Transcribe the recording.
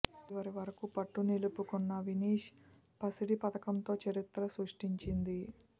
చివరి వరకు పట్టు నిలుపుకున్న వినీశ్ పసిడి పతకంతో చరిత్ర సృష్టించింది